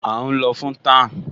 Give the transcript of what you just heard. À ún lọ fún tan